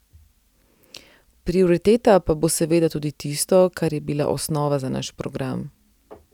Prioriteta pa bo seveda tudi tisto, kar je bila osnova za naš program.